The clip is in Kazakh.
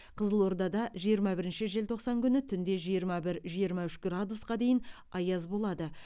қызылордада жиырма бірінші желтоқсан күні түнде жиырма бір жиырма үш градусқа дейін аяз болады